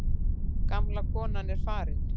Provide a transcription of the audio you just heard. Gamla konan er farin.